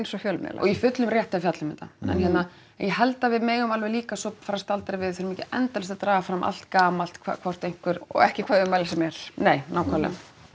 og fjölmiðlar og í fullum rétti að fjalla um þetta en ég held að við megum alveg líka svo fara og staldra við við þurfum ekki endalaust að draga fram allt gamalt hvort einhver og ekki hvaða ummæli sem er nei nákvæmlega